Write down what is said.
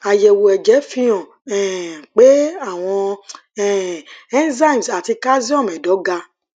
àyẹwò ẹjẹ fihàn um pé àwọn um enzymes ati calcium ẹdọ ga